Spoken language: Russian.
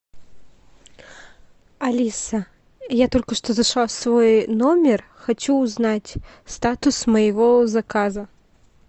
алиса я только что зашла в свой номер хочу узнать статус моего заказа